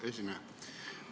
Hea esineja!